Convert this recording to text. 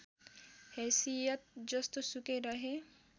हैसियत जस्तोसुकै रहे